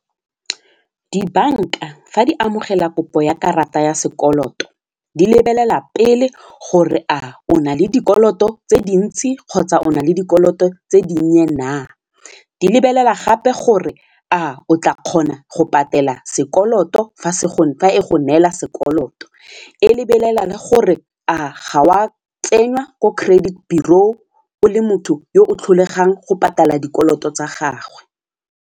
Dibanka fa di amogela kopo ya karata ya sekoloto di lebelela pele gore a o na le dikoloto tse dintsi kgotsa o na le dikoloto tse dinnye na, di lebelela gape gore a o tla kgona go patela sekoloto fa e go neela sekoloto, e lebelela le gore a ga o a tsenngwa ko credit bureau o le motho yo o tlholegang go patala dikoloto tsa gagwe.